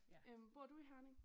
Øh bor du i Herning?